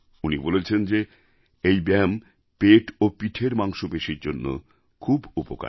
উনি বলেছেন যে এই ব্যায়াম পেট এবং পিঠের মাংসপেশির জন্য খুব উপকারী